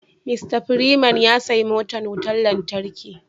"Mr freeman " ya siya motan wutan lantarki.